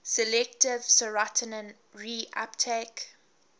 selective serotonin reuptake